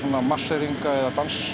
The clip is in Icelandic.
marseringa eða